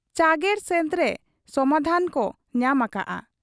ᱪᱟᱹᱨᱜᱚᱲ ᱥᱮᱫᱨᱮ ᱥᱚᱢᱫᱷᱟᱱ ᱠᱚ ᱧᱟᱢ ᱟᱠᱟᱜ ᱟ ᱾